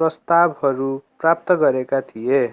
प्रस्तावहरू प्राप्त गरेका थिए